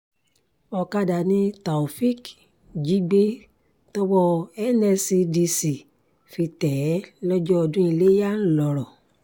ọ̀kadà ni taofeek jí gbé tọwọ́ nscdc fi tẹ̀ ẹ́ lọ́jọ́ ọdún iléyà ńlọrọn